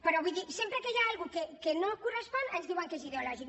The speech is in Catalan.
però vull dir sempre que hi ha alguna cosa que no correspon ens diuen que és ideològic